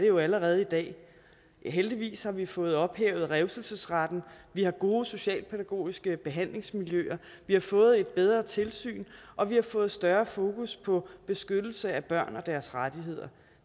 jo allerede i dag heldigvis har vi fået ophævet revselsesretten vi har gode socialpædagogiske behandlingsmiljøer vi har fået et bedre tilsyn og vi har fået større fokus på beskyttelse af børn og deres rettigheder